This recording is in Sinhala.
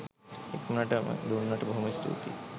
ඉක්මනට ම දුන්නට බොහෝම ස්තූතියි